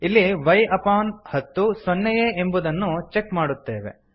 ಇಲ್ಲಿ y upon ಹತ್ತು ಸೊನ್ನೆಯೇ ಎಂಬುದನ್ನು ಚೆಕ್ ಮಾಡುತ್ತೇವೆ